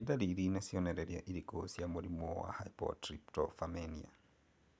Nĩ ndariri na cionereria irĩkũ cia mũrimũ wa Hypertryptophanemia?